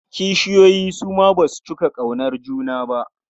Kishiyoyi su ma ba su cika ƙaunar juna.